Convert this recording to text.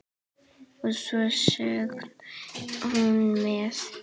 Og svo söng hún með.